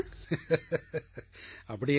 சிரித்துக் கொண்டே அப்படியென்றால்